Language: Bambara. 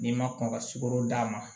N'i ma kɔn ka sukoro d'a ma